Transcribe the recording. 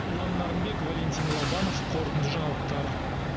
ұлан нарынбек валентин лобанов қорытынды жаңалықтар